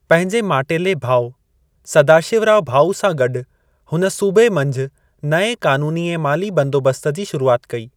पंहिंजे माटेले भाउ सदाशिवराव भाऊ सां गॾु हुन सूबे मंझि नएं क़ानूनी ऐं माली बंदोबस्त जी शुरूआत कई।